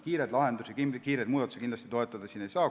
Kiireid lahendusi, kiireid muudatusi siin kindlasti toetada ei saa.